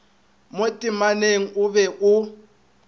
mo temaneng o be o